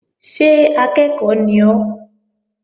Ṣé akẹ́ẹ̀kọ́ ni ọ́?